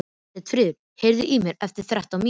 Sveinfríður, heyrðu í mér eftir þrettán mínútur.